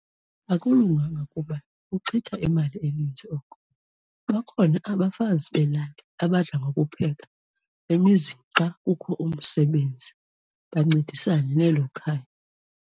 Akulunganga kuba kuchitha imali eninzi oko. Bakhona abafazi belali abadla ngokupheka emizini xa kukho umsebenzi, bancedisane nelo khaya.